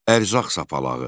Ərzaq sapalağı.